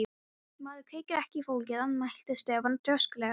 Maður kveikir ekki í fólki, andmælti Stefán þrjóskulega.